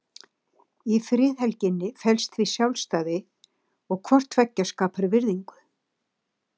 Í friðhelginni felst því sjálfræði og hvort tveggja skapar virðingu.